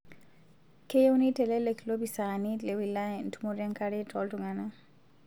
Keyieu neitelelek lopisaani le wilaya entumoto enkare too ltung'ana